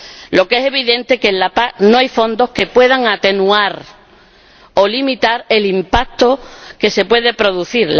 Lo que es evidente es que en la PAC no hay fondos que puedan atenuar o limitar el impacto que se puede producir.